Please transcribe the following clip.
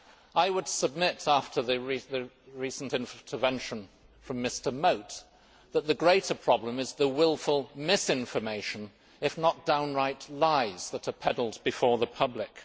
I would submit, after the recent intervention from Mr Mote, that the greater problem is the wilful misinformation, if not downright lies, that are peddled before the public.